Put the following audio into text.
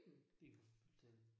Det kan du godt fortælle